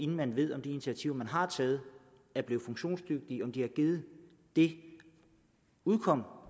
man ved om de initiativer man har taget er blevet funktionsdygtige altså om de har givet det udkomme